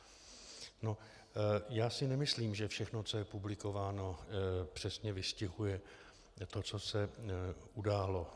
Já si nemyslím, že všechno, co je publikováno, přesně vystihuje to, co se událo.